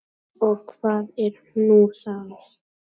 Og hvað er nú það?